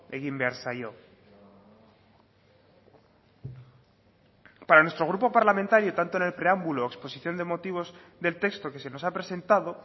egin behar zaio para nuestro grupo parlamentario tanto en el preámbulo exposición de motivos del texto que se nos ha presentado